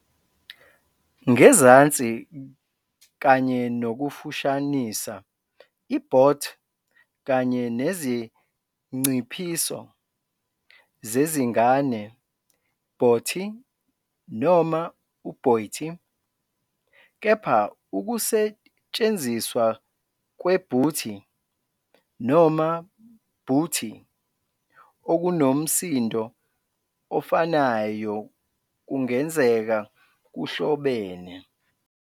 Ngezansi, kanye nokufushanisa i-"bot" kanye nezinciphiso zezingane "bottie" noma "botty", kepha ukusetshenziswa kwe-"booty" noma "bootie" okunomsindo ofanayo kungenzeka kuhlobene.